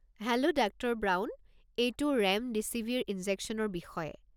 Hello doctor Brown. এইটো remdesivir ইনজেকশ্যনৰ বিষয়ে।